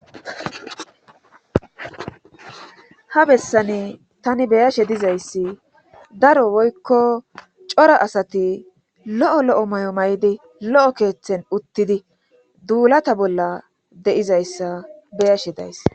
ha bessane tani beyashe dizayssi daro woykko cora asati lo7o lo7o may7o may7di lo7o keeththen uttidi duulata bolla deizayssa beyashe days